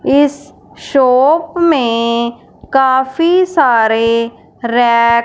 इस शॉप में काफी सारे रैक--